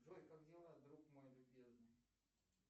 джой как дела друг мой любезный